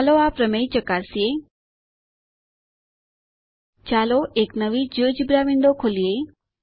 ચાલો આ પ્રમેય ચકાસીએ ચાલો એક નવી જિયોજેબ્રા વિન્ડો ખોલીએ